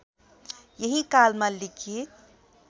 यही कालमा लिखित